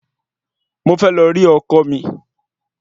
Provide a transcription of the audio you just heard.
Mo fẹ́ lọ rí ọkọ mi